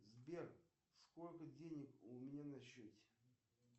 сбер сколько денег у меня на счете